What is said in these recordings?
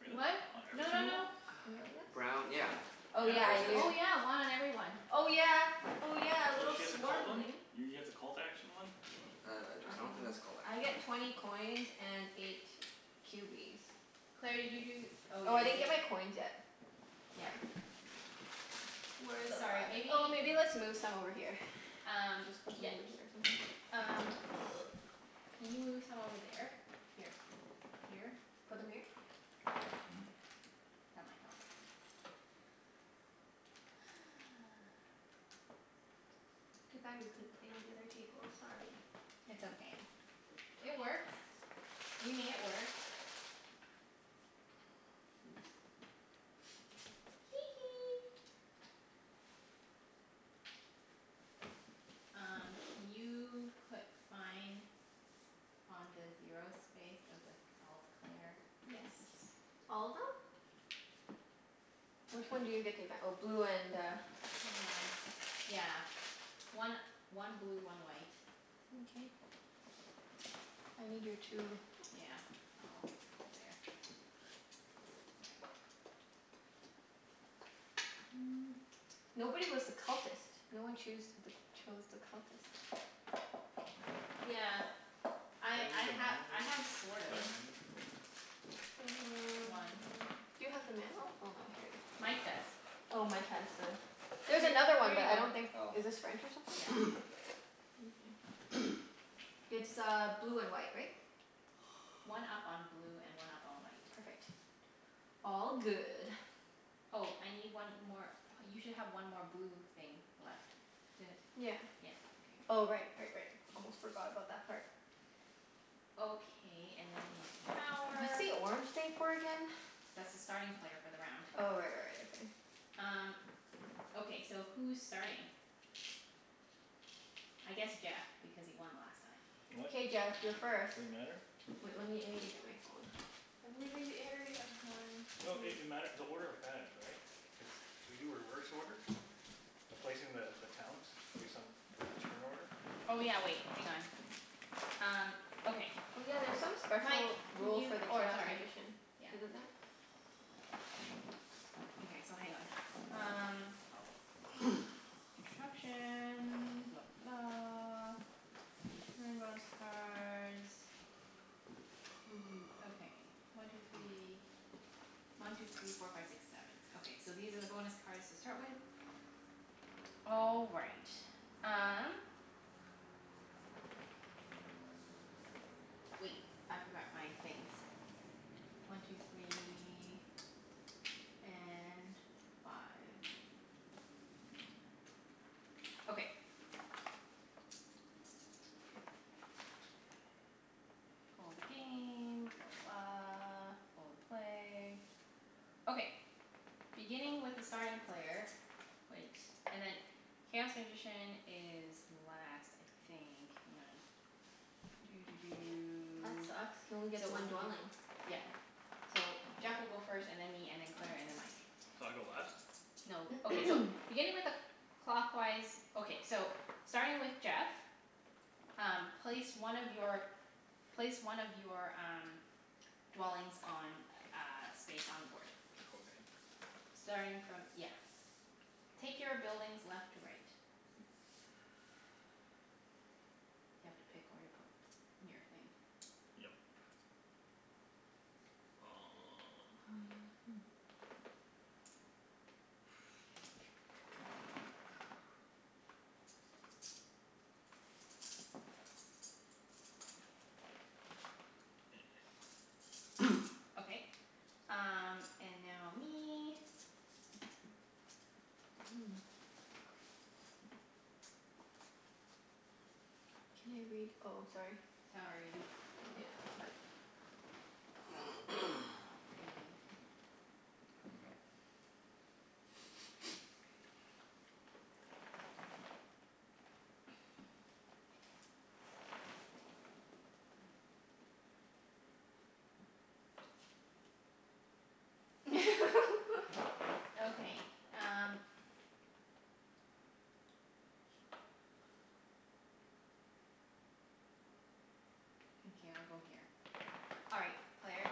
Really? What? On every No no single one? no. Brown, yeah. Oh yeah, Yeah. Cuz I this. do. Oh, yeah. One on every one. Oh yeah, oh yeah. A Oh, little she has a cult one? swarmling. You get the cult action one? Wow, Uh I I I interesting. don't think dunno. that's called I get twenty coins and eight cubies. Claire, did you do oh, Oh, yeah, I you didn't get gave my coins yet. Yeah. Sorry. Where the Sorry, f- maybe oh, maybe let's move some over here. Um, Just put some yeah. over here or C- something. um Can you move some over there? Here. Here? Put them here? Yeah. That might help. Too bad we couldn't play on the other table. Sorry. It's okay. Twenty It coins. works. We made it work. Oops. Hee hee. Um can you put mine on the zero space of the cult, Claire? Yes. All of them? Which one do you get to v- oh, blue and uh Hang on. Yeah. One one blue, one white. Mkay. I need your two Yeah. I'll put it there. Just a second. Nobody was the cultist. No one choose th- chose the cultist. Yeah. I Can I read I the ha- manual again? The manual I thing? have sort of. One. Mm. Do you have the manual? Oh no, here it is. Mike does. Oh, Oh, Mike? Mike has the, H- there's another one but I here don't you go. think, Oh. is this French or something? Yeah. Oh. Mkay. It's uh blue and white, right? One up on blue and one up on white. Perfect. All good. Oh, I need one more, you should have one more blue thing left. Did, Yeah. yeah, okay. Oh Good. right, right, right. Almost forgot about that part. Okay, and then I need What's power. the orange thing for again? That's the starting player for the round. Oh right, right, right. Okay. Um, okay so who's starting? I guess Jeff, because he won last time. What? K Jeff, you're first. Does it matter? Wait, let me, I need to get my phone. I'm leaving the area. One No it two it mat- the order matters, right? Cuz do we do reverse order by placing the the towns return order? Oh yeah, wait. Hang on. Um okay. Oh yeah, there's some Mike, special can rule you, for the oh, chaos sorry. magician. Yeah. Isn't there? Okay, so hang on. Um Oh. Instructions. Blah blah blah. Okay, one two three One two three four five six seven. Okay, so these are the bonus cards to start with. All right. Um Wait, I forgot my things. One two three And five. Five five. Okay. All the game. Blah, blah, blah. All the play. Okay. Beginning with the starting player Wait. And then, chaos magician is last, I think. Hang on. Doo doo That doo. sucks. Can only get So one one two three four dwelling. Yep. So Jeff will go first, and then me, and then Claire, and then Mike. So I go last? No, okay, Or so. Beginning with a cl- clockwise Okay, so starting with Jeff Um place one of your, place one of your um dwellings on a space on the board. Okay. Starting from, yeah. Take your buildings left to right. You have to pick where to put your thing. Yep. Oh yeah, Um hmm. Okay. Um and now me. Can I read, oh, sorry. Sorry. Yeah, it's okay. Green. Okay, um Okay, I'll go here. All right, Claire.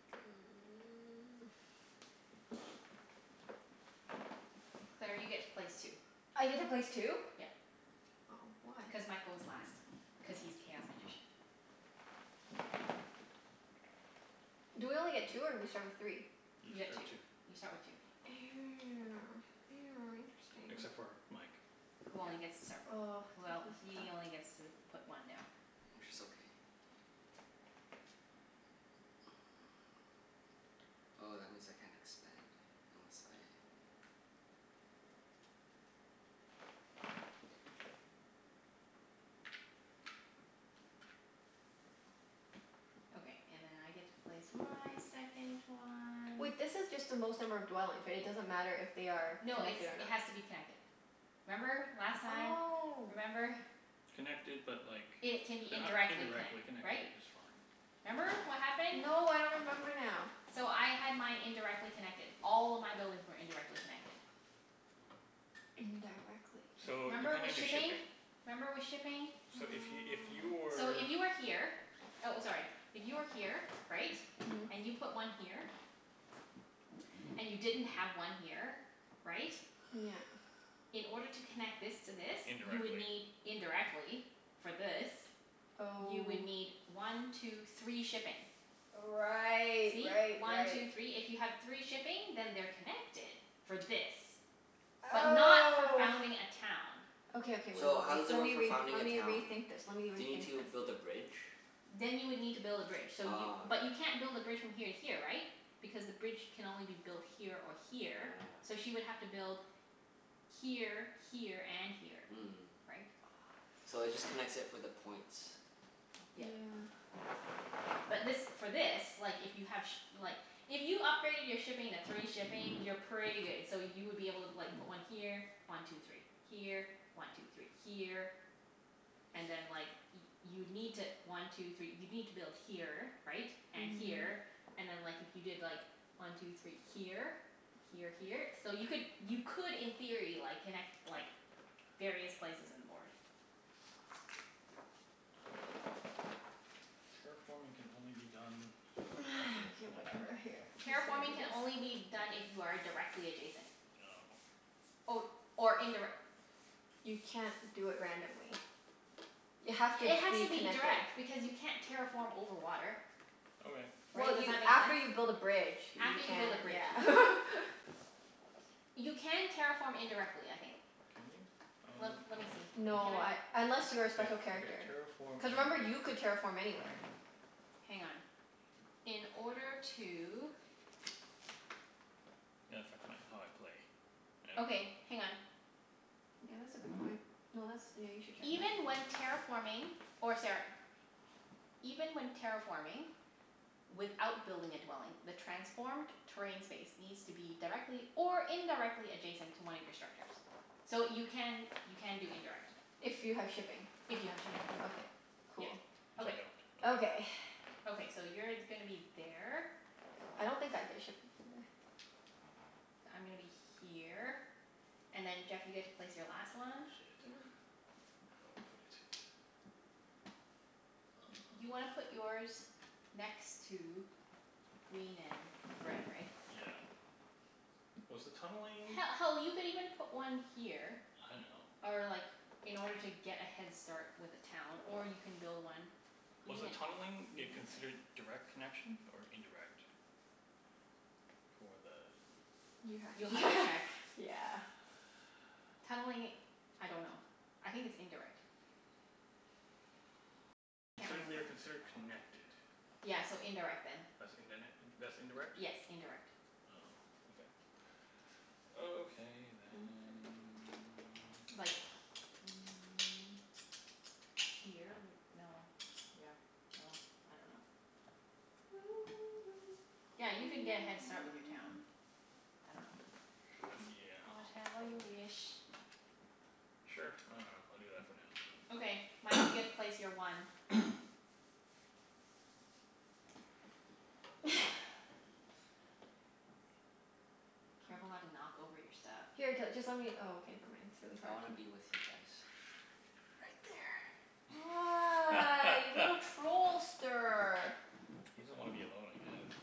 Claire, you get to place two. I get to place two? Yep. Oh. Why? Cuz Mike goes last, cuz he's chaos magician. Do we only get two or we start with three? You You get two. start two. You start with two. Except Interesting. for Mike. Who only gets to start, Oh, well, this is tough. he only gets to put one down. Which is okay. Oh, that means I can't expand unless I Okay, and then I get to place my second one. Wait, this is just the most number of dwellings, right? It doesn't matter if they are No, it's, connected or it not. has to be connected. Remember, last time? Oh. Remember? Connected but like they It can be h- indirectly indirectly connect- connected right? is fine. Remember what happened? No, I don't remember now. So I had mine indirectly connected. All of my buildings were indirectly connected. Indirectly. So, Remember depending with on your shipping? shipping. Remember with shipping? So if y- if you So were if you were here, oh, sorry. If you were here, right? Mhm. And you put one here. And you didn't have one here, right? Yeah. In order to connect this to this, you would Indirectly. need, indirectly for this You would Oh. need one two three shipping. Right, See? right, One right. two three. If you have three shipping then they're connected for this. But not for Oh. founding a town. Okay, okay. Wait, wait, So, how wait. does it Let work me for re- founding let a me town? rethink this. Let me Do you need rethink to this. build a bridge? Then you would need to build a bridge. So you, Ah, but okay. you can't build a bridge from here to here, right? Because the bridge can only be built here or here, so she would have to build here, here, and here. Mm. Right? So it just connects it for the points. Yeah. Yeah. But this, for this, like if you have shi- like If you upgraded your shipping to three shipping, you're pretty good. So you would be able to like put one here. One two three. Here. One two three. Here. And then like y- you'd need to, one two three, you'd need to build here, right? And Mhm. here. And then like, if you did like, one two three here? Here, here. So you could, you could in theory like, connect like various places in the board. Terraforming can only be done directly Okay, connected? whatever. Here, I'm Terraforming just can gonna do only be this. done if you are a- directly adjacent. No. Or, or indirec- You can't do it randomly. You have to It has be to be connected. direct because you can't terraform over water. Okay. Well Right? Does you, that make after sense? you build a bridge you After you build a can, bridge, yeah. yeah. You can terraform indirectly, I think. Can you? Let let me see. Can No, I, I unless Just you're a wait, special okay, character. terraform Cuz remember, you could terraform anywhere. Hang on. In order to Might affect my how I play. I don't Okay, know. hang on. Yeah, that's a good point. No, that's, yeah, you should check that. Even when terraforming or sara- Even when terraforming without building a dwelling the transformed terrain space needs to be directly or indirectly adjacent to one of your structures. So you can, you can do indirect. If you have shipping. If you have shipping, Okay. yeah. Cool. Which I Okay. don't. Okay. Okay. Okay, so you're gonna be there. I don't think I get shipping for the I'm gonna be here, and then Jeff you get to place your last one. Shit. Yeah. I don't know where to put it. Y- you wanna put yours next to green and red, right? Yeah. Was the tunneling He- hell, you could even put one here I know. or like, in order to get a head start with a town. Or you can build one Was Green the tunneling it considered direct connection or indirect? For the You have You'll have to to check. yeah. Tunneling, I dunno. I think it's indirect. They I are can't consid- they are remember. considered connected. Yeah, so indirect then. That's indin- that's Yes, indirect? indirect. Oh, okay. Okay then. Like mm Here would, no, yeah. Well, I dunno. Yeah, you could get a head start with your town. Yeah. Whatever you Probably. wish. Sure. I dunno. I'll do that for now. Okay. Mike, you get to place your one. Careful not to Oh. knock over your stuff. Here t- just let me, oh, okay, never mind. It's really I hard wanna to be with you guys. Right there. Ah, you little trollster. He doesn't want to be alone, I guess.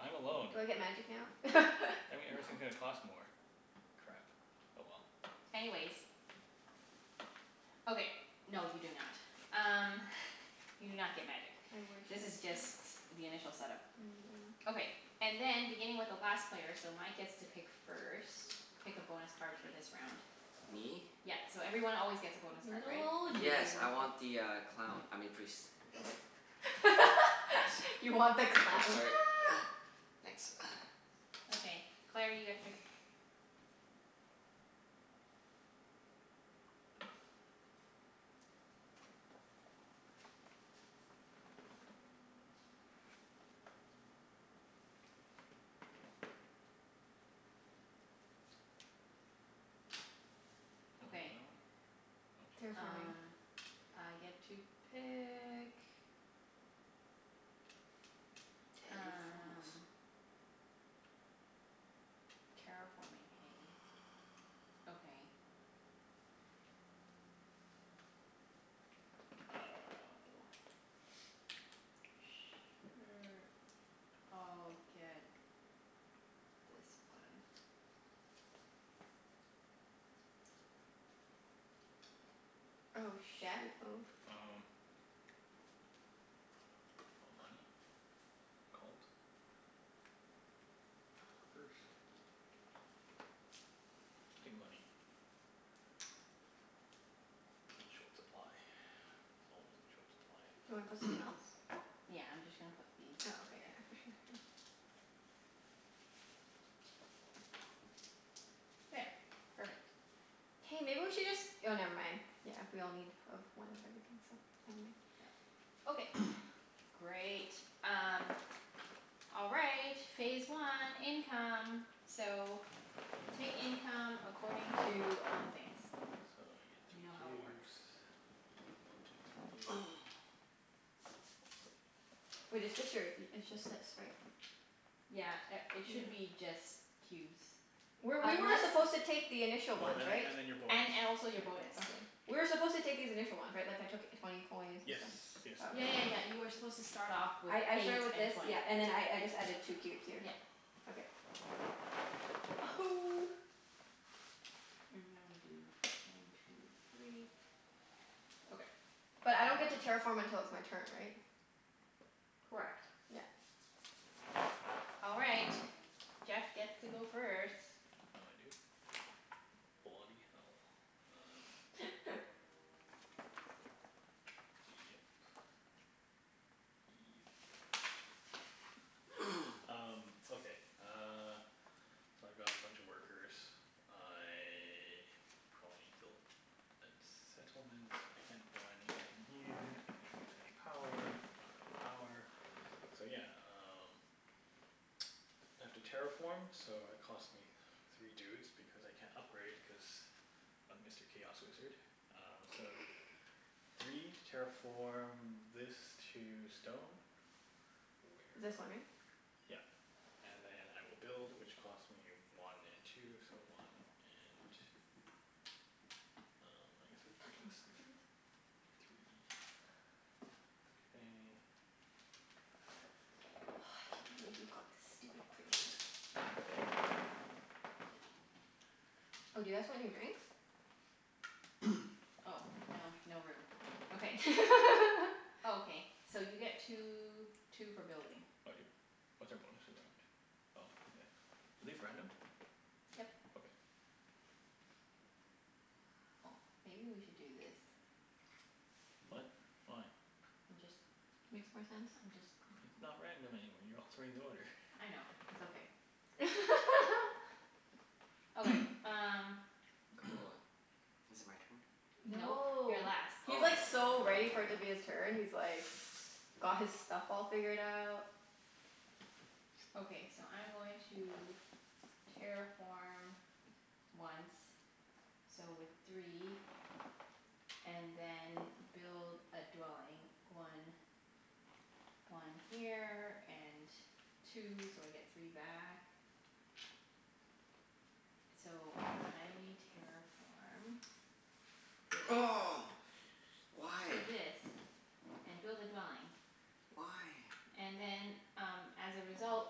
I'm alone. Do I get magic now? That mean No. everything's gonna cost more. Crap. Oh well. Anyways. Okay. No, you do not. Um you do not get magic. I wish This I is just did. the initial set up. Mm, yeah. Okay. And then beginning with the last player, so Mike gets to pick first. Pick a bonus card for this Please. round. Me? Yep, so everyone always gets a bonus card, Little right? old Yes, you. I want the uh clown. I mean priest. You want the Thank. Oops, clown. sorry. Thanks. Okay. Claire, you get to pick. that Okay. one. Oh shit. Terraforming. Um I get to pick. Terraform us. Um. Terraforming, hey? Okay. I dunno. Sure, I'll get this one. Oh Jeff? shoot. Oh. Um, money? Cult. Um. Workers. I'll take money. I'm in short supply. Always in short supply. Do you wanna put something else? Yeah, I'm just gonna put these Oh, okay, here. yeah. For sure. Here. There. Perfect. Hey, maybe we should just, oh never mind. Yeah, we all need, of, one of everything, so never mind. Yep. Okay, great. Um All right. Phase one. Income. So, take income according to all the things. You know So I how get three it cubes. works. One two three. Wait, it's just your, it's just that, sorry. Yeah a- Yeah. it should be just Were, cubes. we were Unless supposed to take the initial Oh, ones, and then right? and then your bonus. And and Your also bonus. your Okay. bonus. We were supposed to take these initial ones, right? Like, I took twenty coins and Yes, stuff? yes. Oh, okay. Yeah yeah yeah, you were supposed to start off with I I eight started with and this, twenty. yeah, and then I I just added two cubes here. Yep. Okay. And now we do one two three. Okay. But I don't get to terraform until it's my turn, right? Correct. Yeah. All right. Jeff gets to go first. Oh, I do? Bloody hell. Um Yep. Yep. Um, okay uh So I've got a bunch of workers. I probably need to build a settlement. I can't buy anything here. I can't use any power. I don't have any power. So yeah, um I have to terraform so it cost me three dudes, because I can't upgrade, cuz of Mr. Chaos Wizard. Um so, three to terraform this to stone. Where It's this one, though? right? Yep. And then I will build which costs me one and two, so one and Um, Don't touch my workers. I guess three, K. Oh, I can't believe you got the stupid priest. Shit. Oh, do you guys want your drinks? Oh, no. No room. Okay. Okay. So you get two two for building. I do? What's our bonus for the round? Oh, okay. Are these random? Yep. Okay. Oh, maybe we should do this. What? Why? I'm just Makes more sense. I'm just It's not random anymore. You're altering the order. I know. It's okay. Okay, um Cool. Is it my turn? Nope. You're No. last. He's like Oh. so ready for it to be his turn. He's like got his stuff all figured out. Okay, so I'm going to terraform once. So with three And then build a dwelling. One one here and two, so I get three back. So I terraform this Oh, to why? this and build a dwelling. Why? And then um as a result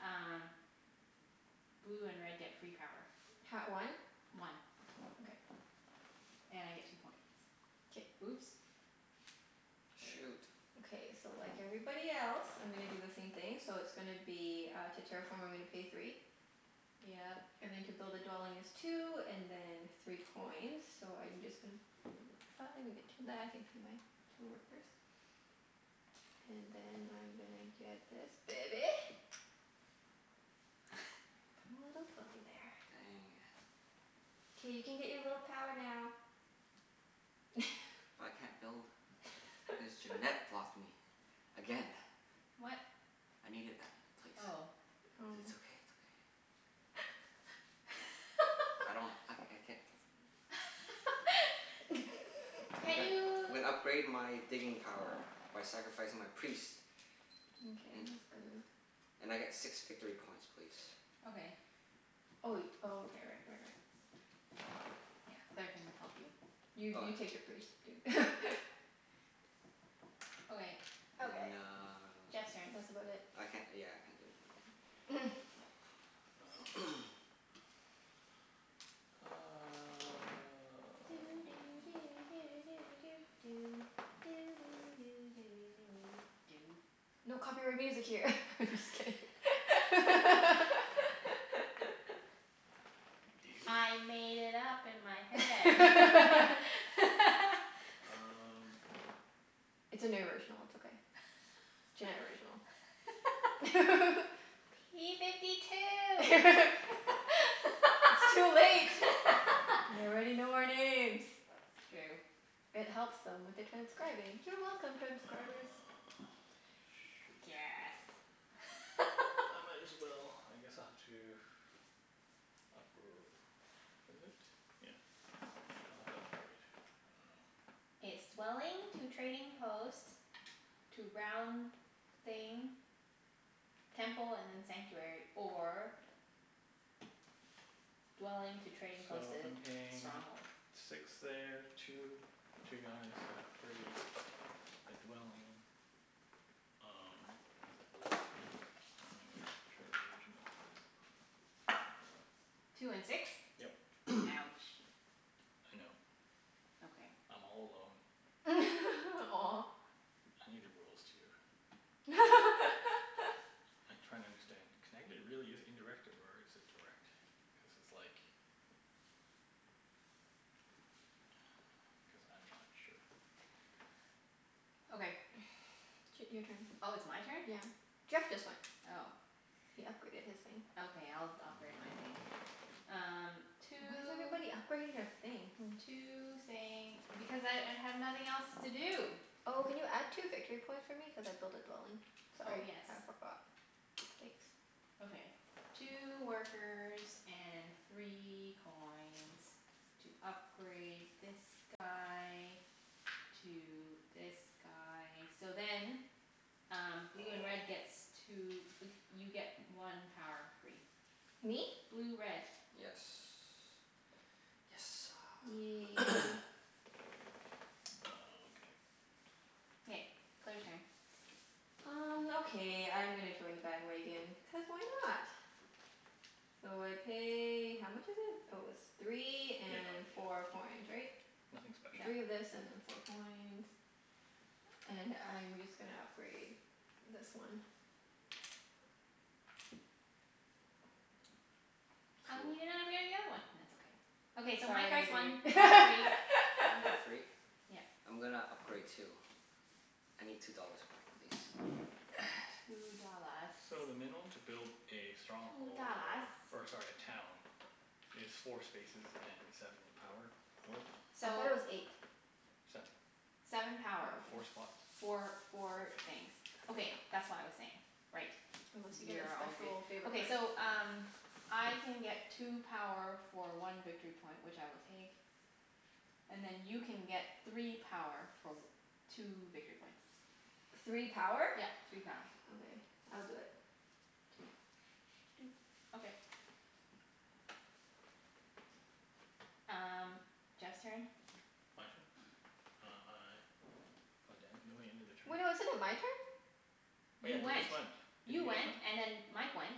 um blue and red get free power. Ha- one? One. Okay. And I get two points. K. Oops. There we go. Shoot. Okay, so like everybody else I'm gonna do the same thing. So it's gonna be uh, to terraform I'm gonna pay three. Yep. And then to build a dwelling is two, and then three coins. So I'm just gon- Five, and get two back, and pay my two workers. And then I'm gonna get this baby. Put a little dwelling there. Dang. K, you can get your little power now. I can't build cuz Junette blocked me again. What? I needed that place. But it's Oh. okay, it's Oh. okay. I don't, I I can't I'm Can't gonna you I'm gonna upgrade my digging power by sacrificing my priest. Mkay, And that's good move. and I get six victory points please. Okay. Oh wai- oh, okay, right, right, right. Yeah. Claire can help you. You Oh, you take yeah. your priest, dude. Okay. Okay. And uh, Jeff's turn. That's about it. I can't, yeah, I can't do anything. Um Doo doo do do do doo doo. Doo doo do do do doo doo doo. No copyright music here. I'm just kidding. Do you? I made it up in my head. Um It's an original. It's okay. Junette original. P fifty two. It's too late. They already know our names. It's true. It helps them with the transcribing. You're welcome, transcribers. Ah, shoot. Guess. I might as well, I guess I'll have to Upgr- is it? Yeah. I'll have to upgrade. I dunno. It's dwelling to trading post to round thing Temple and then sanctuary. Or dwelling to trading post So to I'm paying stronghold. six there. Two, two guys at gray. A dwelling. Um, I don't even know. Sure, the original. Two and six? Yep. Ouch. I know. Okay. I'm all alone. Aw. I need the rules, too. I'm trying to understand. Can I g- really use indirect, or is it direct? Cuz it's like Cuz I'm not sure. Okay. Ch- your turn. Oh, it's my turn? Yeah. Jeff just went. Oh. He upgraded his thing. Okay, I'll d- upgrade my thing. Um Why is two everybody upgrading their thing? Hmm. two thing. Because I I have nothing else to do. Oh, can you add two victory points for me? Cuz I built a dwelling. Oh, Sorry, yes. I forgot. Thanks. Okay. Two workers and three coins. To upgrade this guy to this guy. So then um blue and Oh. red gets two, like you get one power free. Me? Blue red. Yes. Yes sir. Yay. Oh, okay. K. Claire's turn. Um okay, I'm gonna join the bandwagon, cuz why not? So I pay, how much is it? Oh, it's three Yeah, and no four coins, yeah, right? nothing special. Three Yep. of this and then four coins. And I'm just gonna upgrade this one. How come Poo. you didn't upgrade the other one? It's okay. Okay, so Mike Sorry gets one. dude. One three One for free? Yep. I'm gonna upgrade too. I need two dollars back please. Two dollars. So the minimum to build a Two stronghold dollars. or, or sorry, a town is four spaces and seven power worth. I So thought it was eight. Seven. Seven Oh, power. Four okay. spots. Okay. Four four things. Okay, that's what I was saying. Right. Unless you get a You're all good. special favor Okay, card. so um I can get two power for one victory point, which I will take. And then you can get three power for w- two victory points. Three power? Yep. Three power. Okay. I'll do it. Two. Doot. Okay. Um Jeff's turn. My turn? Um I God damn it, no, we ended a Wait, no, turn? isn't it my turn? Oh yeah, you You just went. went, didn't You you just went went? and then Mike went.